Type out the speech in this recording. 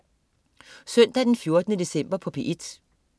Søndag den 14. december